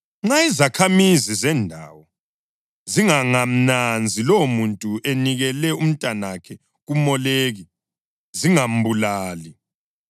Nxa izakhamizi zendawo zingangamnanzi lowomuntu enikela umntanakhe kuMoleki zingambulali,